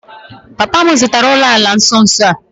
Papa m zụtara ụlọala na nso nso a